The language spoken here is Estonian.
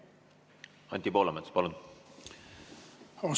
Anti Poolamets, palun!